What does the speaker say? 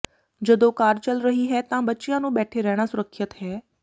ਜਦੋਂ ਕਾਰ ਚਲ ਰਹੀ ਹੈ ਤਾਂ ਬੱਚਿਆਂ ਨੂੰ ਬੈਠੇ ਰਹਿਣਾ ਸੁਰੱਖਿਅਤ ਹੈ